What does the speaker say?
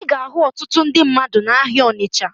Ị ga-ahụ ọtụtụ ndị mmadụ n'ahịa Ọnịcha